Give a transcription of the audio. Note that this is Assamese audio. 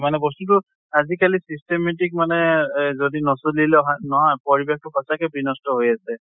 মানে বস্তুটো আজি কালি systematic মানে এহ যদি নচলিলো হয় নহয় পৰিবেশ টো সঁচাকে বিনষ্ট হৈ আছে।